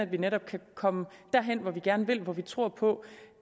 vi netop kan komme derhen hvor vi gerne vil og hvor vi tror på